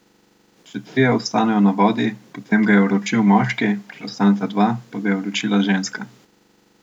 Če trije ostanejo na vodi, potem ga je uročil moški, če ostaneta dva, pa ga je uročila ženska.